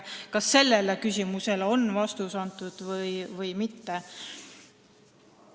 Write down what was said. Kas sellele küsimusele on vastus antud või mitte?